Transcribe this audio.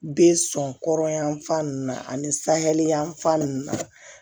Be sɔn kɔrɔn yanfan nunnu na ani sahɛli yanfan nunnu na